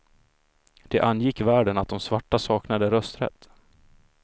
Det angick världen att de svarta saknade rösträtt.